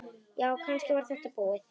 Já, kannski var þetta búið.